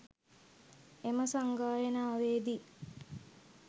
එම සංගායනාවේදී